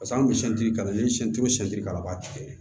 an bɛ ka na ni ka baati kɛ